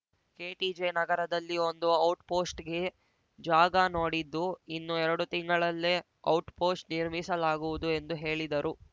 KTJ ನಗರದಲ್ಲಿ ಒಂದು out ಪೋಸ್ಟ್‌ಗೆ ಜಾಗ ನೋಡಿದ್ದು ಇನ್ನು ಎರಡು ತಿಂಗಳಲ್ಲೇ ಔಟ್‌ ಪೋಸ್ಟ್‌ ನಿರ್ಮಿಸಲಾಗುವುದು ಎಂದು ಹೇಳಿದರು